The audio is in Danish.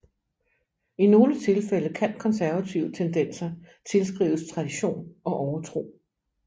I nogle tilfælde kan konservative tendenser tilskrives tradition og overtro